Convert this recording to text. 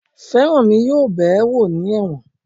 Feranmi yóò bẹ̀ẹ́ wò ní ẹ̀wọ̀n